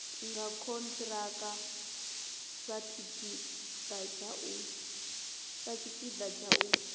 nga khonthiraka satshipida tsha u